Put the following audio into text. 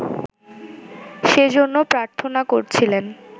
সেজন্যে প্রার্থনা করছিলেন